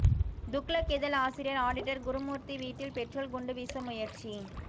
துக்ளக் இதழ் ஆசிரியர் ஆடிட்டர் குருமூர்த்தி வீட்டில் பெட்ரோல் குண்டு வீச முயற்சி